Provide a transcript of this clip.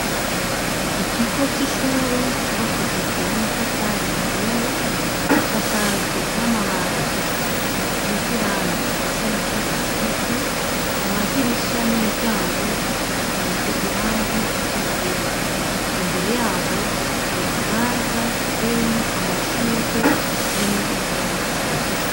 ikigo cy'ishure cubakishijwe n'amatafari ahiye gisakajwe n'amabatsi asize irangi risa n'icatsi kibisi amadirisha n'imiryango asize irangi ry'ubururu imbere yaho hari kibanza gitewemo amashurwe arimwo n'ibyatsi